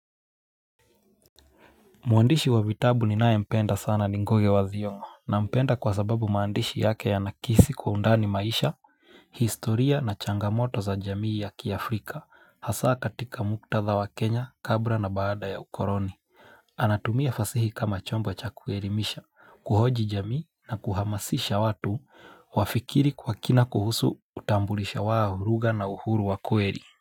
Mwandishi wa vitabu ninayempenda sana ni Ngugi wa Thiong'o. Nampenda kwa sababu maandishi yake yanakisi kwa undani maisha, historia na changamoto za jamii ya kiafrika hasa katika muktadha wa Kenya kabla na baada ya ukoloni. Anatumia fasihi kama chombo cha kuelimisha, kuhoji jamii na kuhamasisha watu wafikiri kwa kina kuhusu utambulisho wa lugha na uhuru wa kweli.